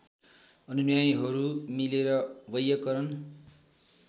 अनुयायीहरू मिलेर वैयाकरण